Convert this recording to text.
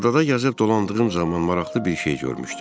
Adada gəzib dolandığım zaman maraqlı bir şey görmüşdüm.